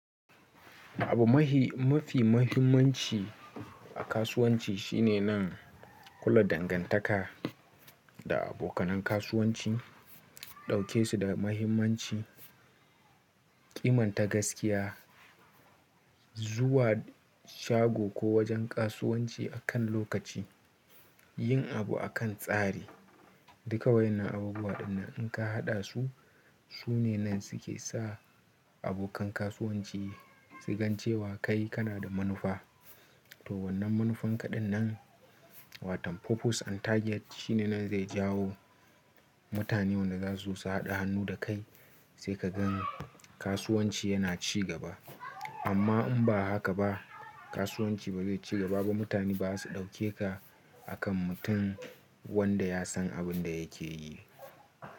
Abu mahi mafi mahimmanci a kasuwanci shine nan kulla dangantaka da abokanin kasuwanci, ɗauke su da mahimmanci, ƙiman ta gaskiya, zuwa shago ko wajen kasuwanci a kan lokaci, yin abu a kan tsari. Duka wa'yannan abubuwa din nan in ka haɗa su, su ne nan su ke sa abokan kasuwanci su gan cewa kai kana da manufa. To wannan manufan kaɗan nan watan purpose and target shine nan zai jawo mutanen wanda za su zo su haɗa hannu da kai sai ka gan kasuwanci yana ci gaba. Amma in ba haka ba kasuwanci ba zai ci gaba ba. Mutane ba za su ɗauke ka akan mutum wanda ya san abin da yake yi.